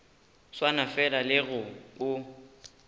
swana fela le ge o